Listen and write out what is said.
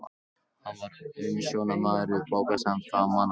Hann var umsjónarmaður við bókasafn framan af ævinni.